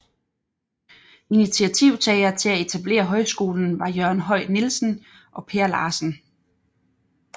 Initiativtagere til at etablere højskolen var Jørgen Høj Nielsen og Per Larsen